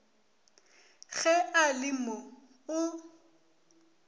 ge a le mo o